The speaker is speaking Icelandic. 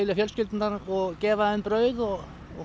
fjölskyldurnar og gefa þeim brauð og